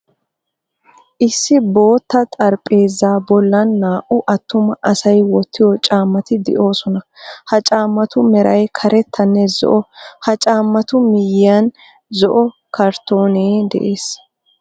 Issi bootta xarphpheezaa bollan naa"u attuma asay wottiyo caammati de'oosona. Ha caammatu meray karettanne zo"o, ha caammatu miyiyan zo"o karttoonee de'ees.